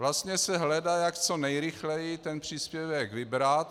Vlastně se hledá, jak co nejrychleji ten příspěvek vybrat.